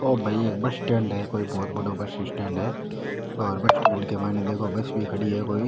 ओ भई कोई बस स्टेण्ड है कोई भोत बड़ो बस स्टेण्ड है और बस स्टेण्ड के माइन देखो बस भी खड़ी है कोई।